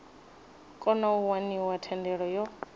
kona u waniwa thendelo yo